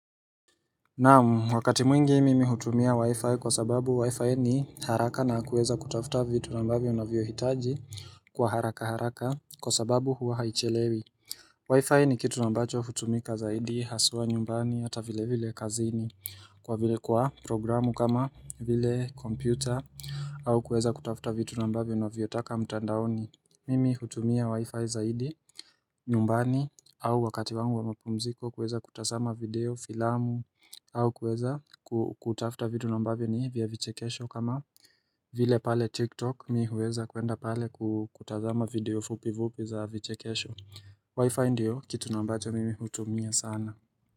Naamu wakati mwingi mimi hutumia wi-fi kwa sababu wi-fi ni haraka na hakuweza kutafuta vitu na mbavyo unavyo hitaji Kwa haraka haraka kwa sababu hua haichelewi wi-fi ni kitu nambacho hutumika zaidi haswa nyumbani hata vile vile kazini kwa programu kama vile kompyuta au kueza kutafuta vitu na ambavyo unavyo taka mtandaoni Mimi hutumia wi-fi zaidi nyumbani au wakati wangu wa mapumziko kuweza kutazama video, filamu au kuweza kutafuta vitu na ambavyo ni vya vichekesho kama vile pale TikTok mi huweza kuenda pale kutazama video fupi fupi za vichekesho Wi-Fi ndio kitu naambacho mimi hutumia sana.